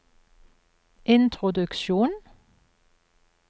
introduksjon